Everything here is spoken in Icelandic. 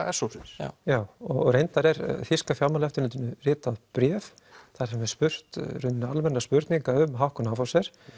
s hópsins já reyndar er þýska fjármálaeftirlitinu ritað bréf þar sem er spurt í rauninni almenna spurninga um Hauck og Aufhäuser